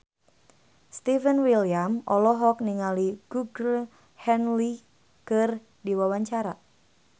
Stefan William olohok ningali Georgie Henley keur diwawancara